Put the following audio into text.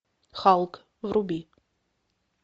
халк вруби